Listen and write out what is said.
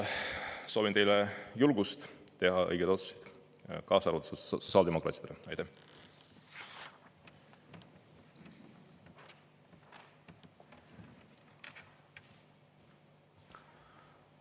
Soovin teile julgust teha õigeid otsuseid, kaasa arvatud sotsiaaldemokraatidele!